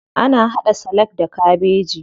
Ana haɗa salak da kabeji.